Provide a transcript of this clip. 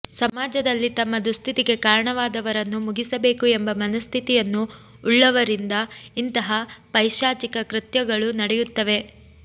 ಸಮಾಜದಲ್ಲಿ ತಮ್ಮ ದುಸ್ಥಿತಿಗೆ ಕಾರಣವಾದವರನ್ನು ಮುಗಿಸಬೇಕು ಎಂಬ ಮನಸ್ಥಿತಿಯನ್ನು ಉಳ್ಳವರಿಂದ ಇಂತಹ ಪೈಶಾಚಿಕ ಕೃತ್ಯಗಳು ನಡೆಯುತ್ತವೆ